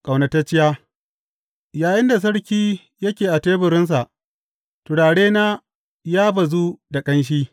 Ƙaunatacciya Yayinda sarki yake a teburinsa, turarena ya bazu da ƙanshi.